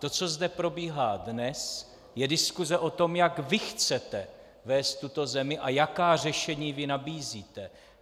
To, co zde probíhá dnes, je diskuse o tom, jak vy chcete vést tuto zemi a jaká řešení vy nabízíte.